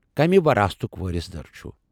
کمہِ وراثتُک وٲرِث در چھُ؟